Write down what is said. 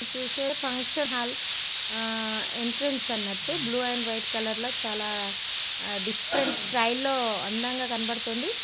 చూస్తే function hall ఆ entrance అన్నటు బ్లూ అండ్ వైట్ కలర్ లా చాలా డిఫరెంట్ స్టైల్ లో అందంగా కనపడుతుంది.